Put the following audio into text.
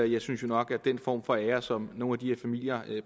jeg synes jo nok at den form for ære som nogle af de her familier